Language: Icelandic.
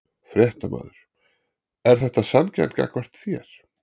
Fréttamaður: Er þetta sanngjarnt gagnvart þér?